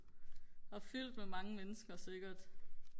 og fyldt med mange mennesker sikkert